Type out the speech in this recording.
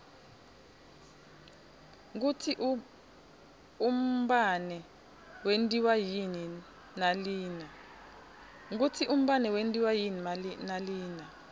kutsi umbane wentiwa yini nalina